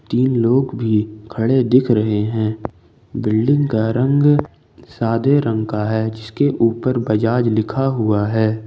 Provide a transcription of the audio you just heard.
तीन लोग भी खड़े दिख रहे हैं बिल्डिंग का रंग सादे रंग है जिसके ऊपर बजाज लिखा हुआ है।